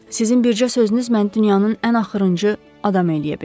Sizin bircə sözünüz məni dünyanın ən axırıncı adam eləyə bilər.